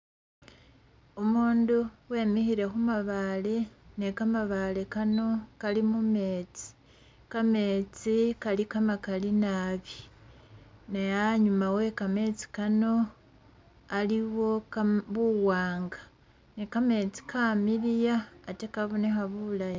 Umundu wemilkhile khumabaale ne kamabaale kano Kali mumeetsi, kameetsi Kali kamakali naabi ne anyuma wekameetsi kano aliwo kama buwaanga ne kameetsi kamiliya ate kabonekha bulayi